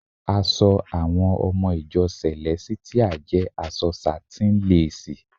Aṣọ àwọn ọmọ ìjọ sẹ̀lẹ́sítíà jẹ aṣọ sátíń lásìì.